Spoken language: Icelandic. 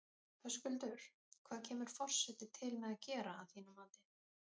Höskuldur, hvað kemur forsetinn til með að gera að þínu mati?